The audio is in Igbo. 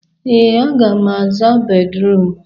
Ee, aga m aza bédrụum.